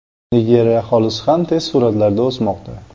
Nigeriya aholisi ham tez sur’atlarda o‘smoqda.